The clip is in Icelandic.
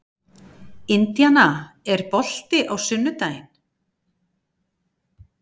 Indiana, er bolti á sunnudaginn?